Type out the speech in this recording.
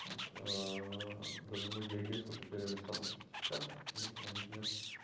вот даже многие агентства потеряли статус сертификации потому что у них нет